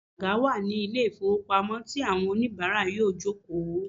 Àga wà ní ilé ìfowópamọ́ tí àwọn oníìbárà yóò fi jòkó